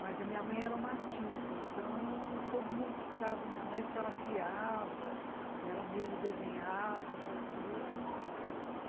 Mas a minha mãe era uma artista, então todo mundo procurava minha mãe porque ela criava, ela mesma desenhava, fazia.